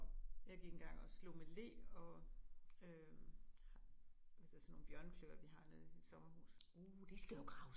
Jeg gik engang og slog med le og øh altså sådan nogle bjørnekløer vi har nede i mit sommerhus